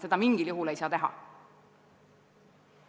Seda mingil juhul ei saa teha.